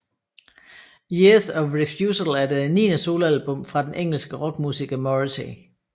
Years of Refusal er det niende soloalbum fra den engelsk rockmusiker Morrissey